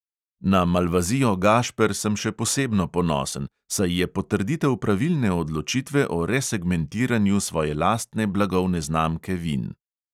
Na malvazijo gašper sem še posebno ponosen, saj je potrditev pravilne odločitve o resegmentiranju svoje lastne blagovne znamke vin.